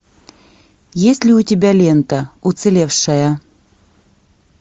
есть ли у тебя лента уцелевшая